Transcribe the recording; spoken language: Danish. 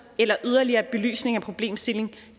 eller yderligere belysning af problemstillingen